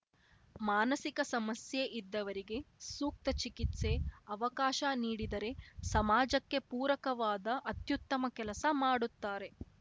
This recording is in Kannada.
ಮಾನಸಿಕ ಸಮಸ್ಯೆ ಇದ್ದವರಿಗೆ ಸೂಕ್ತ ಚಿಕಿತ್ಸೆ ಅವಕಾಶ ನೀಡಿದರೆ ಸಮಾಜಕ್ಕೆ ಪೂರಕವಾದ ಅತ್ಯುತ್ತಮ ಕೆಲಸ ಮಾಡುತ್ತಾರೆ